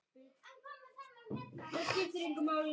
Nei, krúttið þitt, svaraði ég.